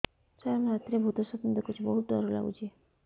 ସାର ମୁ ରାତିରେ ଭୁତ ସ୍ୱପ୍ନ ଦେଖୁଚି ବହୁତ ଡର ଲାଗୁଚି